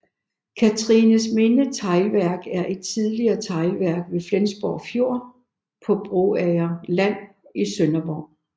Cathrinesminde Teglværk er et tidligere teglværk ved Flensborg Fjord på Broager Land i Sønderborg